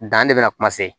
Dan de bɛ na kuma se